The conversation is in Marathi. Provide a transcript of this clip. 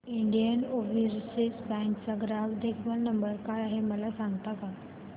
इंडियन ओवरसीज बँक चा ग्राहक देखभाल नंबर काय आहे मला सांगता का